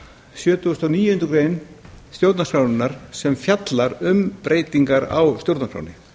sjötugasta og níundu grein stjórnarskrárinnar sem fjallar um breytingar á stjórnarskránni